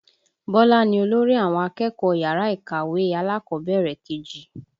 Bọlá ni olórí àwọn akẹ́kọ̀ọ́ yàrá ìkàwé alákọ̀bẹ̀rẹ̀ kejì